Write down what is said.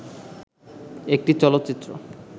একটি চলচ্চিত্র